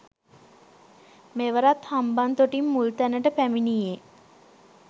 මෙවරත් හම්බන්තොටින් මුල් තැනට පැමිණියේ